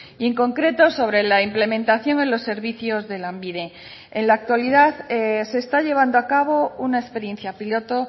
y en concreto sobre la implementación en los servicios de lanbide en la actualidad se está llevando a cabo una experiencia piloto